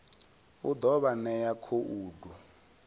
u ḓo vha ṋea khoudu